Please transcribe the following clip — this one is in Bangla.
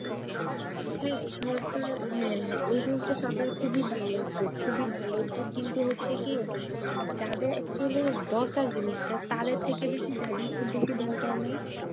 হ্যাঁ সরকার হ্যাঁ হ্যাঁ এই জিনিসটা সরকারের খুবই ভালো উদ্যোগ কিন্তু হচ্ছে কি যাদের actually দরকার জিনিসটা তাদের থেকে বেশি যাদের খুব বেশি দরকার নেই